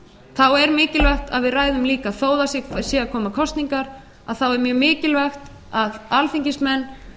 þá er mikilvægt að við ræðum líka þó að það séu að koma kosningar er mjög mikilvægt að alþingismenn